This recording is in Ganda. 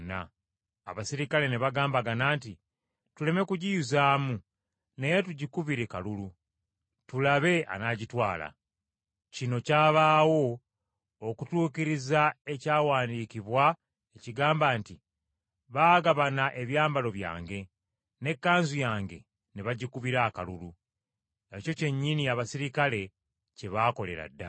abaserikale ne bagambagana nti, “Tuleme kugiyuzaamu naye tugikubire kalulu, tulabe anaagitwala.” Kino kyabaawo okutuukiriza ekyawandiikibwa ekigamba nti: “Baagabana ebyambalo byange, n’ekkanzu yange ne bagikubira akalulu.” Ekyo kyennyini abaserikale kye baakolera ddala.